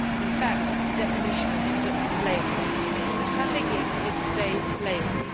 In fact, it is a definition of slavery. Trafficking is today's slavery.